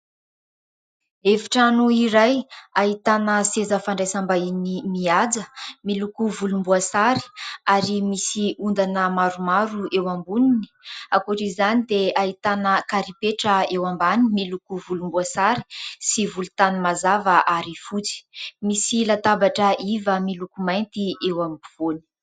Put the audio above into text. Efitrano iray ahitana seza fandraisam-bahiny mihaja miloko volomboasary ary misy ondana maromaro eo amboniny. Ankoatr' izany dia ahitana karipetra eo ambany miloko volomboasary sy volontany mazava ary fohy. Misy latabatra iva miloko mainty eo ampovoany.